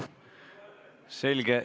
Selge.